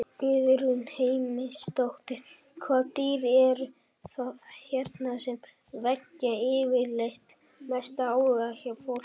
Guðrún Heimisdóttir: Hvaða dýr eru það hérna sem vekja yfirleitt mestan áhuga hjá fólki?